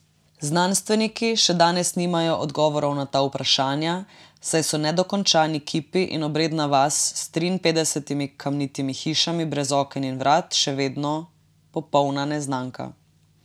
Znanstveniki še danes nimajo odgovorov na ta vprašanja, saj so nedokončani kipi in obredna vas s triinpetdesetimi kamnitimi hišami brez oken in vrat še vedno popolna neznanka.